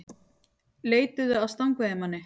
Leituðu að stangveiðimanni